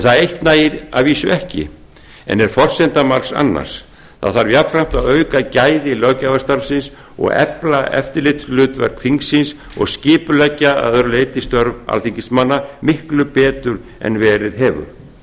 það eitt nægir að vísu ekki en er forsenda margs annars það þarf jafnframt að auka gæði löggjafarstarfsins efla eftirlitshlutverk þingsins og skipuleggja að öðru leyti störf alþingismanna miklu betur en verið hefur